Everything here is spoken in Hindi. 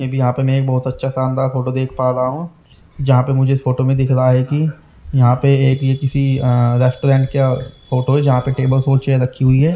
मे बी यहां पे नए बहुत अच्छा शानदार फोटो देख पा रहा हूं जहां पे मुझे फोटो में दिख रहा है कि यहां पर एक ये किसी अह रेस्टोरेंट के फोटो जहां पे टेबल्स और चेयर रखी हुई है।